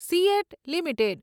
seat limited